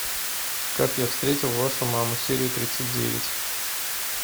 как я встретил вашу маму серия тридцать девять